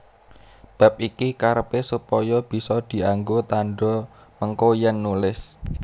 Bab iki karepé supaya bisa dianggo tandha mengko yèn nulis